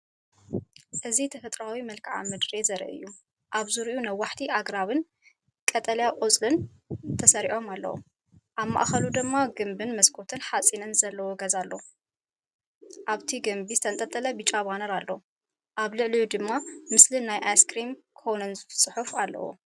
እዚ ተፈጥሮኣዊ መልክዓ ምድሪ ዘርኢ እዩ። ኣብ ዙርያኡ ነዋሕቲ ኣግራብን ቀጠልያ ቆጽልን ተሰሪዖም ኣለዉ፡ኣብ ማእከሉ ድማ ግምብን መስኮት ሓጺንን ዘለዎ ገዛ ኣሎ። ኣብቲ ግምቢ ዝተተኽለ ብጫ ባነር ኣሎ፣ ኣብ ልዕሊኡ ድማ ምስሊ ናይ ኣይስክሪም ኮንን ጽሑፍን ኣለዎ።